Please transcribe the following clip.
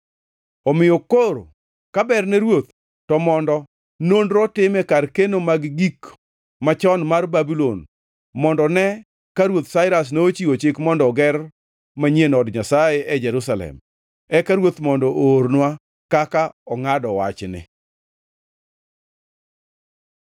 Omiyo koro ka berne ruoth, to mondo nonro otim e kar keno mag gik machon mar Babulon mondo ne ka Ruoth Sairas nochiwo chik mondo oger manyien od Nyasaye e Jerusalem. Eka ruoth mondo oornwa kaka ongʼado wachni.